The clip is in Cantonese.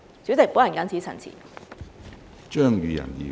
主席，本人謹此陳辭。